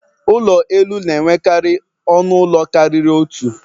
Ụlọ elu na-enwekarị ọnụ ụlọ karịrị otu.